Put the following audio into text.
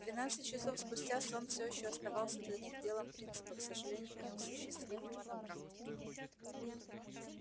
двенадцать часов спустя сон всё ещё оставался для них делом принципа к сожалению неосуществимого на практике